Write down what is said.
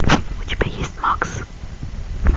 у тебя есть макс